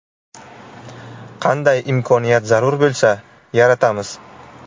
Qanday imkoniyat zarur bo‘lsa – yaratamiz.